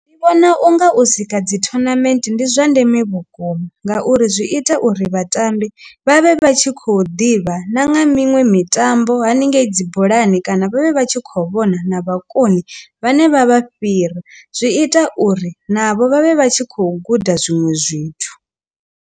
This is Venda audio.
Ndi vhona u nga u sika dzi tournament ndi zwa ndeme vhukuma ngauri zwi ita uri vhatambi vhavhe vha tshi kho ḓivha na nga miṅwe mitambo haningei dzi bolani kana vhavhe vha tshi khou vhona na vhakoni vhane vha vha fhira zwi ita uri navho vhavhe vha tshi khou guda zwinwe zwithu.